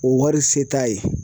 O wari se t'a ye.